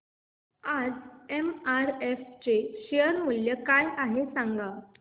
आज एमआरएफ चे शेअर मूल्य काय आहे सांगा